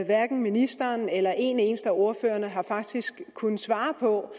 hverken ministeren eller en eneste af ordførerne har faktisk kunnet svare på